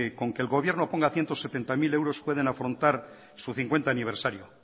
que con que el gobierno ponga ciento setenta mil euros pueden afrontar su quincuagesimo aniversario